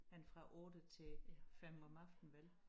Men fra 8 til 5 om aftenen vel